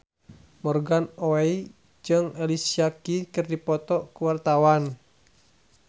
Morgan Oey jeung Alicia Keys keur dipoto ku wartawan